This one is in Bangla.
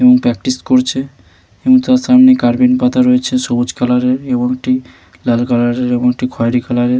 প্র্যাকটিস করছে । এবং তার সামনে পাতা রয়েছে সবুজ কালার এর এবং একটি লাল কালার এর এবং একটি খয়রি কালার এর--